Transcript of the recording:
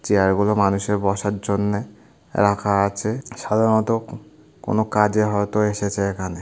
Chair গুলো মানুষের বসার জন্যে রাখা আছেসাধারণত কোন কাজে হয়তো এসেছে এখানে ।